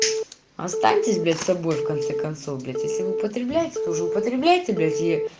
останьтесь блять собой в конце концов блять если вы употребляете то уже употребляете её